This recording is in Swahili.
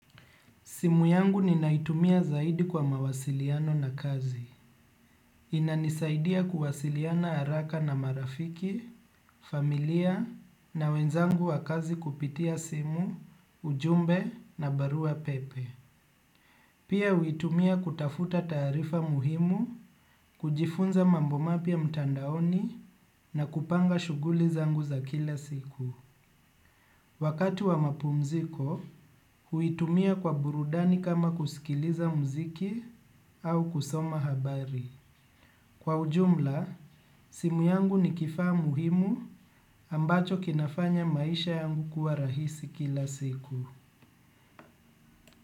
Simu yangu ni naitumia zaidi kwa mawasiliano na kazi. Inanisaidia kuwasiliana haraka na marafiki, familia na wenzangu wa kazi kupitia simu, ujumbe na barua pepe. Pia huitumia kutafuta taarifa muhimu, kujifunza mambo mapya mtandaoni na kupanga shughuli zangu za kila siku. Wakati wa mapumziko, huitumia kwa burudani kama kusikiliza mziki au kusoma habari. Kwa ujumla, simu yangu ni kifaa muhimu ambacho kinafanya maisha yangu kuwa rahisi kila siku.